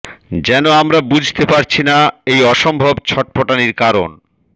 যেন আমরা বুঝতে পারছি না এই অসম্ভব ছটফটানির কারণ